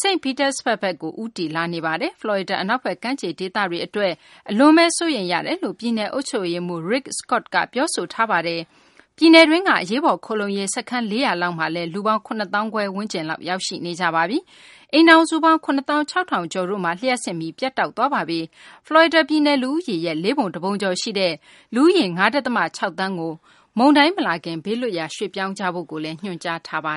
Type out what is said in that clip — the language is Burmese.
St. Petersburg ဘက်ကို ဦးတည်လာနေပါတယ်။ ဖလော်ရီဒါ အနောက်ဘက် ကမ်းခြေ ဒေသတွေ အတွက် အလွန်ဘဲ စိုးရိမ်ရတယ်လို့ ပြည်နယ် အုပ်ချုပ်ရေးမှူး Rick Scott က ပြောဆိုထားပါတယ်။ ပြည်နယ်တွင်းက အရေးပေါ် ခိုလှုံရေး စခန်း ၄၀၀ လောက်မှာလည်း လူပေါင်း ၇ သောင်းခွဲကျော်လောက် ရောက်ရှိနေကြပါပြီ။ အိမ်ထောင်စုပေါင်း ၇ သောင်း ၆ ထောင်ကျော်တို့မှာ လျှပ်စစ်မီး ပြတ်တောက်သွားပါပြီ။ဖလော်ရီဒါ ပြည်နယ် လူဦးရေရဲ့ လေးပုံတပုံကျော်ရှိတဲ့ လူဦးရေ ၅ ဒသမ ၆ သန်းကို မုန်တိုင်းမလာခင် ဘေးလွတ်ရာ ရွှေ့ပြောင်းကြဖို့ ညွှန်ကြားထားတာပါ